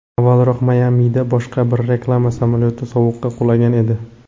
Avvalroq Mayamida boshqa bir reklama samolyoti suvga qulagan edi.